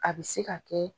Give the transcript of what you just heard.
A bɛ se ka kɛ